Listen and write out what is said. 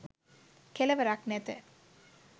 කෙළවරක් නැත